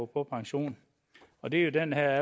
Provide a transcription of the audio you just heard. på pension og det er jo den her